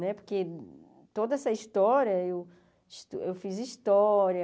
Né porque toda essa história, eu fiz história.